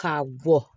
K'a bɔ